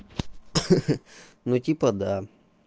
ха-ха ну типа да